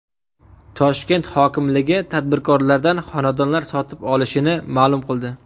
Toshkent hokimligi tadbirkorlardan xonadonlar sotib olishini ma’lum qildi.